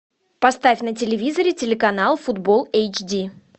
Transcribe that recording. поставь на телевизоре телеканал футбол эйч ди